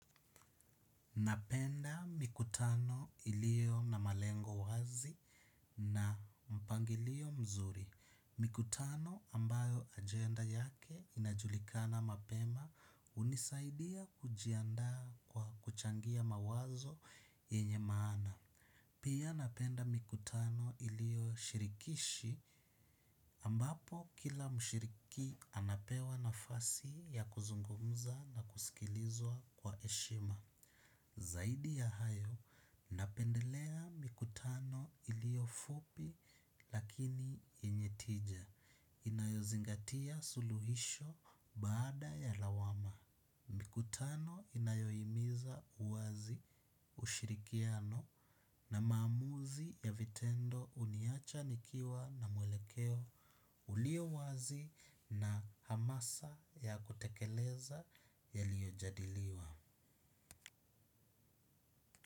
Napenda mikutano ilio na malengo wazi na mpangilio mzuri. Mikutano ambayo agenda yake inajulikana mapema hunisaidia kujiandaa kwa kuchangia mawazo yenye maana. Pia napenda mikutano ilio shirikishi ambapo kila mshiriki anapewa nafasi ya kuzungumza na kusikilizwa kwa heshima. Zaidi ya hayo, napendelea mikutano ilio fupi lakini yenye tija, inayozingatia suluhisho baada ya lawama. Mikutano inayo himiza uwazi ushirikiano na maamuzi ya vitendo huniacha nikiwa na mwelekeo ulio wazi na hamasa ya kutekeleza yaliyo jadiliwa.